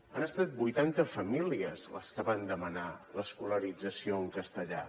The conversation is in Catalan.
han estat vuitanta famílies les que van demanar l’escolarització en castellà